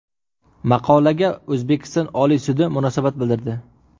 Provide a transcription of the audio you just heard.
Maqolaga O‘zbekiston Oliy sudi munosabat bildirdi .